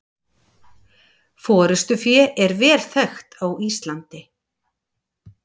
Forystufé er vel þekkt á Íslandi.